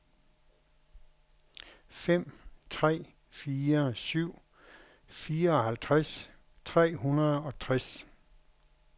fem tre fire syv fireoghalvtreds tre hundrede og tres